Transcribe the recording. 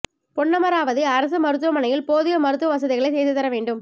பொன்னமராவதி அரசு மருத்துவமனையில் போதிய மருத்துவ வசதிகளை செய்து தர வேண்டும்